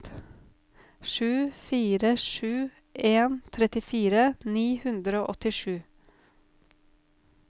sju fire sju en trettifire ni hundre og åttisju